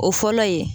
O fɔlɔ ye